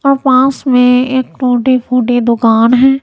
पास में एक टूटी फूटी दुकान है।